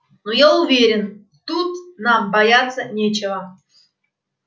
ну я уверен тут нам бояться нечего